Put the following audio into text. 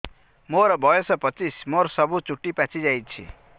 ମୋର ବୟସ ପଚିଶି ମୋର ସବୁ ଚୁଟି ପାଚି ଯାଇଛି